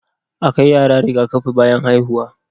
A kai yara Riga kafi bayan haihuwa